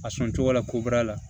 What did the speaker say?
A sɔn cogo la koba la